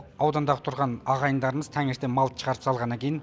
аудандағы тұрған ағайындармыз таңертең малды шығарып салғаннан кейін